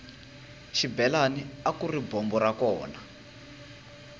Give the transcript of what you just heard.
xibelani akuri bombo ra kona